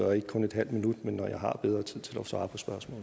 og ikke kun en halv minut men når jeg har bedre tid til at svare